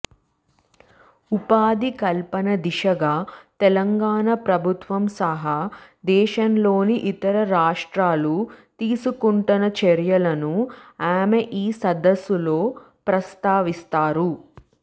ఉపాధి కల్పన దిశగా తెలంగాణ ప్రభుత్వం సహా దేశంలోని ఇతర రాష్ట్రాలు తీసుకుంటున్న చర్యలను ఆమె ఈ సదస్సులో ప్రస్తావిస్తారు